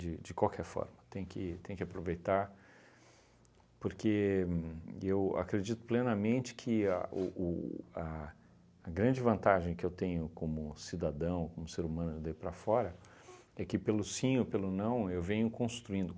de qualquer forma, tem que tem que aproveitar, porque eu acredito plenamente que a o o a a grande vantagem que eu tenho como cidadão, como ser humano, daí para fora, é que pelo sim ou pelo não, eu venho construindo.